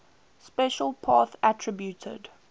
special path attribute